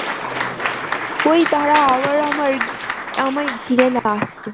ওই দাঁড়া আবার আমার আমায় ঘিরে ।